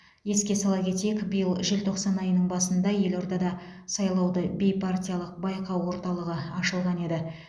еске сала кетейік биыл желтоқсан айының басында елордада сайлауды бейпартиялық байқау орталығы ашылған еді